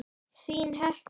Þín, Hekla.